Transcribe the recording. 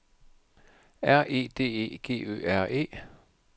R E D E G Ø R E